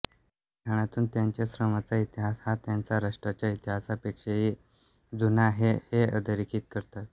या लिखाणातून त्यांच्या श्रमाचा इतिहास हा त्यांच्या राष्ट्राच्या इतिहासापेक्षाही जुना आहे हे अधोरेखित करतात